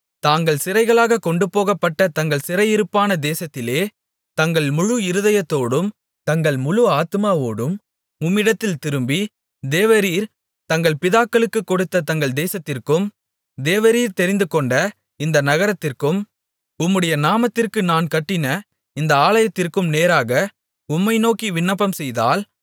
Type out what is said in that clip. தாங்கள் சிறைகளாகக் கொண்டுபோகப்பட்ட தங்கள் சிறையிருப்பான தேசத்திலே தங்கள் முழு இருதயத்தோடும் தங்கள் முழு ஆத்துமாவோடும் உம்மிடத்தில் திரும்பி தேவரீர் தங்கள் பிதாக்களுக்குக் கொடுத்த தங்கள் தேசத்திற்கும் தேவரீர் தெரிந்துகொண்ட இந்த நகரத்திற்கும் உம்முடைய நாமத்திற்கு நான் கட்டின இந்த ஆலயத்திற்கும் நேராக உம்மை நோக்கி விண்ணப்பம்செய்தால்